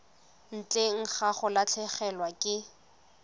ntle ga go latlhegelwa ke